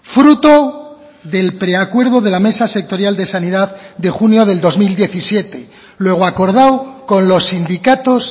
fruto del preacuerdo de la mesa sectorial de sanidad de junio del dos mil diecisiete luego acordado con los sindicatos